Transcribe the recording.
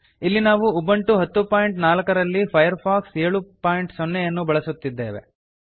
ಇಲ್ಲಿ ನಾವು ಉಬಂಟು 1004 ರಲ್ಲಿ ಫೈರ್ಫಾಕ್ಸ್ 70 ಯನ್ನು ಬಳಸುತ್ತಿದ್ದೇವೆ